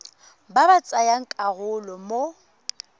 ba ba tsayang karolo mo